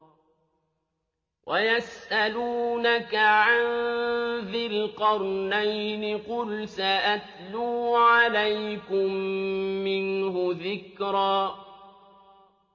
وَيَسْأَلُونَكَ عَن ذِي الْقَرْنَيْنِ ۖ قُلْ سَأَتْلُو عَلَيْكُم مِّنْهُ ذِكْرًا